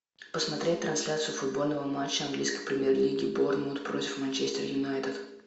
посмотреть трансляцию футбольного матча английской премьер лиги борнмут против манчестер юнайтед